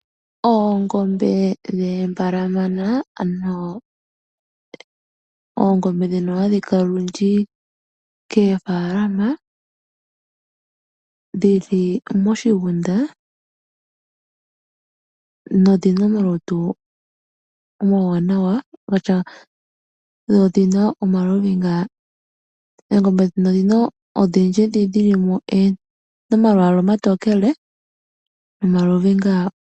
Oongombe dhoombalamana ano oongombe dhino hadhi kala olundji koofalama dhi li moshigunda, na odhina omalutu omawanawa, dho odhina omaluhinga. Oongombe dhino odhindji dhoka dhili mo odhina omalwaala omatokele nomaluhinga.